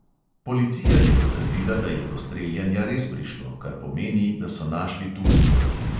Policija je potrdila, da je do streljanja res prišlo, kar pomeni, da so našli tulce.